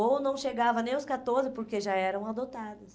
Ou não chegava nem aos catorze, porque já eram adotadas.